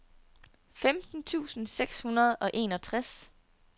femten tusind seks hundrede og enogtres